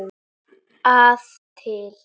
að til.